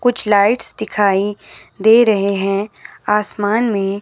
कुछ लाइट्स दिखाई दे रहे हैं आसमान में--